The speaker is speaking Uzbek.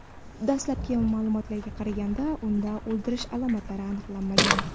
Dastlabki ma’lumotlarga qaraganda, unda o‘ldirish alomatlari aniqlanmagan.